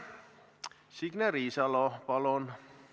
Signe Riisalo, palun!